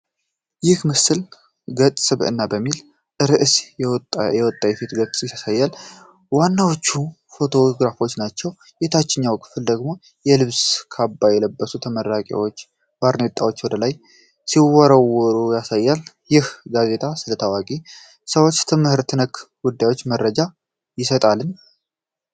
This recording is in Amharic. ይህ ምስል 'ገጸ ስብዕና' በሚል ርዕስ የወጣየፊት ገጽን ያሳያል። ዋናዎቹ ፎቶግራፎች ናቸው። የታችኛው ክፍል ደግሞ የልብስ ካባ የለበሱ ተመራቂዎች ባርኔጣቸውን ወደ ላይ ሲወረውሩ ያሳያል። ይህ ጋዜጣ ስለ ታዋቂ ሰዎችና ትምህርት ነክ ጉዳዮች መረጃ ይሰጣልን?